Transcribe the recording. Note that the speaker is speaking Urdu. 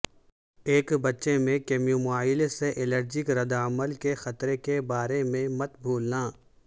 ایک بچے میں کیمومائل سے الرجک رد عمل کے خطرے کے بارے میں مت بھولنا